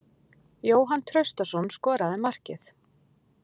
Jóhann Traustason skoraði markið.